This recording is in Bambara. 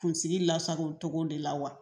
Kunsigi lasago tɔgɔ de la wa